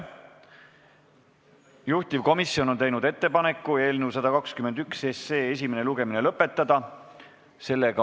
Juhtivkomisjon on teinud ettepaneku eelnõu 121 esimene lugemine lõpetada.